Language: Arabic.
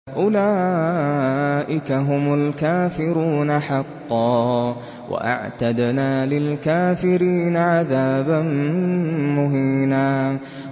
أُولَٰئِكَ هُمُ الْكَافِرُونَ حَقًّا ۚ وَأَعْتَدْنَا لِلْكَافِرِينَ عَذَابًا مُّهِينًا